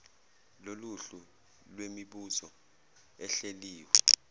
loluhlu lwemibuzo ehleliwe